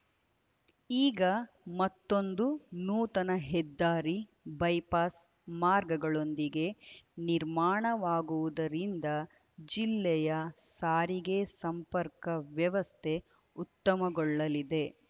ಈಗ ಮತ್ತೊಂದು ನೂತನ ಹೆದ್ದಾರಿ ಬೈಪಾಸ್‌ ಮಾರ್ಗಗಳೊಂದಿಗೆ ನಿರ್ಮಾಣವಾಗುವುದರಿಂದ ಜಿಲ್ಲೆಯ ಸಾರಿಗೆ ಸಂಪರ್ಕ ವ್ಯವಸ್ಥೆ ಉತ್ತಮಗೊಳ್ಳಲಿದೆ